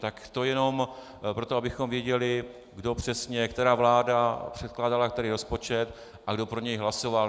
Tak to jenom proto, abychom věděli, kdo přesně, která vláda předkládala který rozpočet a kdo pro něj hlasoval.